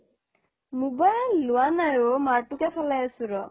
mobile লোৱা নাই ও মাৰটোকে চলাই আছো ৰ